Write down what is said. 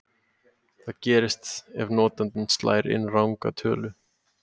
Hvað gerist ef notandinn slær inn ranga tölu?